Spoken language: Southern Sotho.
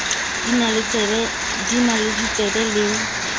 di na le ditsebo le